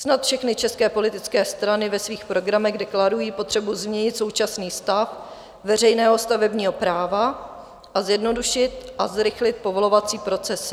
Snad všechny české politické strany ve svých programech deklarují potřebu změnit současný stav veřejného stavebního práva a zjednodušit a zrychlit povolovací procesy.